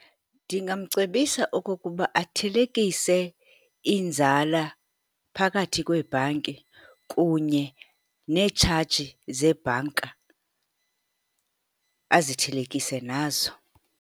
Ndingamcebisa okokuba athelekise iinzala phakathi kweebhanki, kunye netshaji zeebhanka azithelekise nazo.